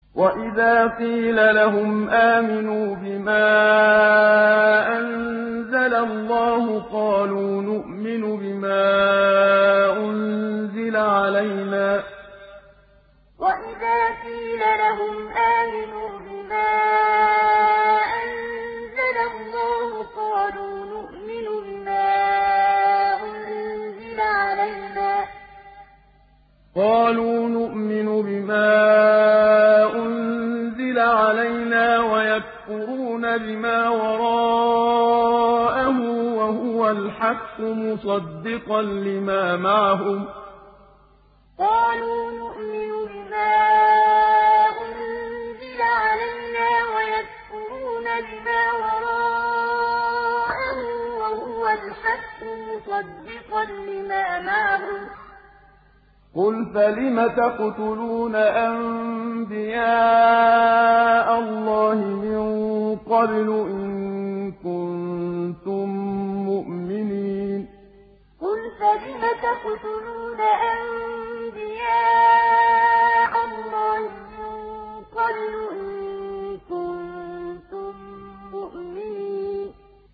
وَإِذَا قِيلَ لَهُمْ آمِنُوا بِمَا أَنزَلَ اللَّهُ قَالُوا نُؤْمِنُ بِمَا أُنزِلَ عَلَيْنَا وَيَكْفُرُونَ بِمَا وَرَاءَهُ وَهُوَ الْحَقُّ مُصَدِّقًا لِّمَا مَعَهُمْ ۗ قُلْ فَلِمَ تَقْتُلُونَ أَنبِيَاءَ اللَّهِ مِن قَبْلُ إِن كُنتُم مُّؤْمِنِينَ وَإِذَا قِيلَ لَهُمْ آمِنُوا بِمَا أَنزَلَ اللَّهُ قَالُوا نُؤْمِنُ بِمَا أُنزِلَ عَلَيْنَا وَيَكْفُرُونَ بِمَا وَرَاءَهُ وَهُوَ الْحَقُّ مُصَدِّقًا لِّمَا مَعَهُمْ ۗ قُلْ فَلِمَ تَقْتُلُونَ أَنبِيَاءَ اللَّهِ مِن قَبْلُ إِن كُنتُم مُّؤْمِنِينَ